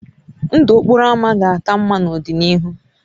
Ndụ okporo ámá ga-aka mma n'ọdịnihu